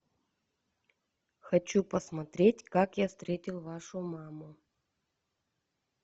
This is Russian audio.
хочу посмотреть как я встретил вашу маму